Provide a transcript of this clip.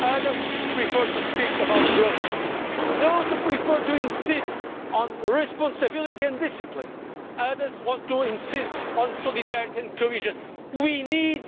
others prefer to speak about growth. Those who prefer to insist on responsibility and discipline, others want to insist on solidarity and cohesion. We need